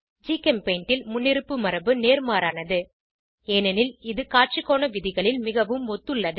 ஜிகெம்பெய்ண்ட் ல் முன்னிருப்பு மரபு நேர்மாறானது ஏனெனில் இது காட்சிக்கோண விதிகளில் மிகவும் ஒத்துள்ளது